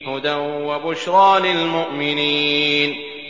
هُدًى وَبُشْرَىٰ لِلْمُؤْمِنِينَ